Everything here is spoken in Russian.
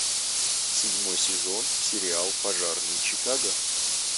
седьмой сезон сериал пожарные чикаго